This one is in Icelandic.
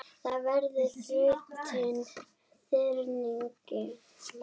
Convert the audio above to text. Það verður þrautin þyngri.